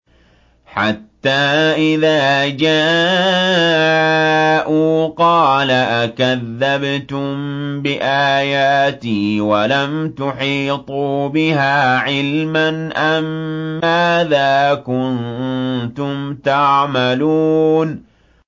حَتَّىٰ إِذَا جَاءُوا قَالَ أَكَذَّبْتُم بِآيَاتِي وَلَمْ تُحِيطُوا بِهَا عِلْمًا أَمَّاذَا كُنتُمْ تَعْمَلُونَ